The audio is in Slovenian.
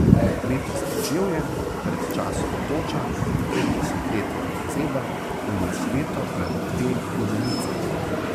Letos deževje, pred časom toča, pred desetletjem pozeba, vmes leto ali dve rumenice ...